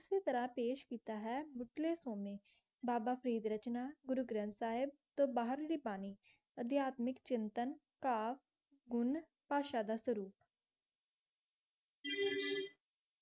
ਇਸੀ ਤਰ੍ਹਾ ਪਾਯ੍ਸ਼ ਕੀਤਾ ਹੈ ਬਾਬਾ ਫਰੀਦ ਰਚਨਾ ਗੁਰੂ ਗਾਰੰਟ ਸਾਹਿਬ ਟੀ ਬਹਿਰ ਲੀ ਪਾਣੀ ਦਿਹਾਤ mix ਚਿੰਤਨ ਗੁਣ ਪਾਸ਼ਾ ਦਾ ਸਰੁਕ